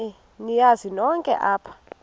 niyazi nonk apha